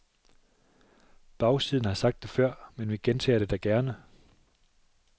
Bagsiden har sagt det før, men vi gentager det da gerne.